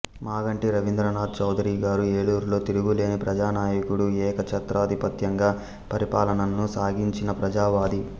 మాగంటి రవీంద్రనాథ్ చౌదరి గారు ఏలూరులో తిరుగులేని ప్రజానాయకుడు ఏకఛత్రాధిపత్యంగా పరిపాలనను సాగించిన ప్రజావాది